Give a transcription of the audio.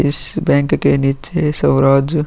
इस बैंक के निचे स्वराज --